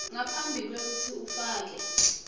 ngaphambi kwekutsi ufake